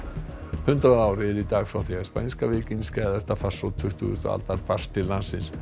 hundrað ár eru í dag frá því spænska veikin farsótt tuttugustu aldar barst til landsins